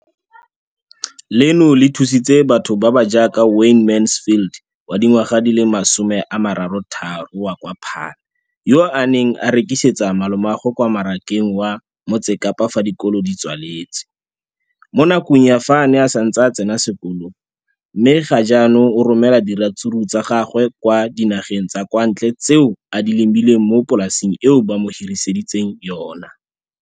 Leno le thusitse batho ba ba jaaka Wayne Mansfield, 33, wa kwa Paarl, yo a neng a rekisetsa malomagwe kwa Marakeng wa Motsekapa fa dikolo di tswaletse, mo nakong ya fa a ne a santse a tsena sekolo, mme ga jaanong o romela diratsuru tsa gagwe kwa dinageng tsa kwa ntle tseo a di lemileng mo polaseng eo ba mo hiriseditseng yona.